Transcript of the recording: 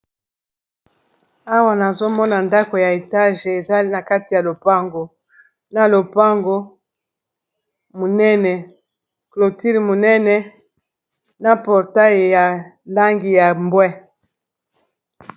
awa nazomona ndako ya etage ezai na kati ya lopango na lopango munene cloture munene na portaille ya langi ya bwe